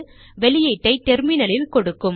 வெளியீட்டை டெர்மினலில் கொடுக்கும்